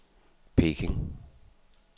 Peking